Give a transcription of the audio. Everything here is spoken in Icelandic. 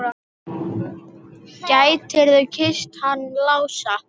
Gætirðu kysst hann Lása?